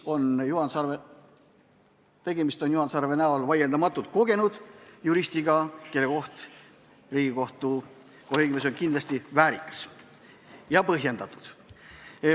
Juhan Sarve näol on vaieldamatult tegu kogenud juristiga, kelle koht Riigikohtu kolleegiumis on kindlasti põhjendatud.